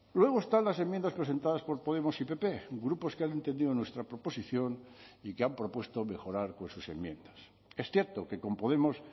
luego están las enmiendas presentadas por podemos y pp grupos que han entendido nuestra proposición y que han propuesto mejorar con sus enmiendas es cierto que con podemos